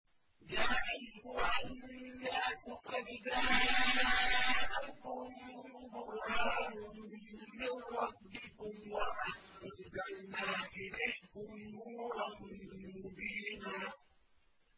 يَا أَيُّهَا النَّاسُ قَدْ جَاءَكُم بُرْهَانٌ مِّن رَّبِّكُمْ وَأَنزَلْنَا إِلَيْكُمْ نُورًا مُّبِينًا